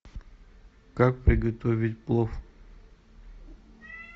как приготовить плов